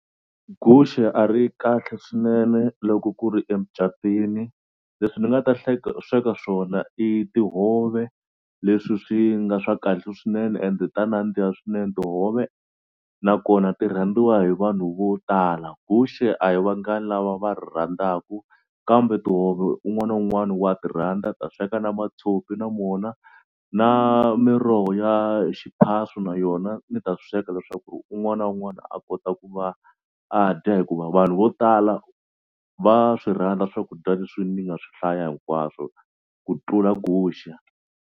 Guxe a ri kahle swinene loko ku ri emucatwini leswi ni nga ta hleka sweka swona i tihove leswi swi nga swa kahle swinene ende ta nandziha swinene tihove nakona ti rhandziwa hi vanhu vo tala. Guxe a hi vangani lava va rhandzaka kambe tihove un'wana na un'wana wa ti rhandza ta sweka na mathopi na mona na miroho ya xiphaswo na yona ni ta sweka leswaku un'wana na un'wana a kota ku va a dya hikuva vanhu vo tala va swi rhandza swakudya leswi ndzi nga swi hlaya hinkwaswo ku tlula guxe.